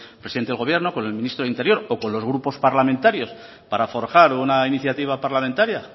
presidente del gobierno con el ministro de interior o con los grupos parlamentarios para forjar una iniciativa parlamentaria